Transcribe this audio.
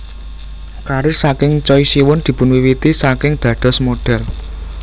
Karir saking Choi Siwon dipunwiwiti saking dados model